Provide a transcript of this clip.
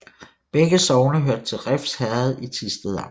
Begge sogne hørte til Refs Herred i Thisted Amt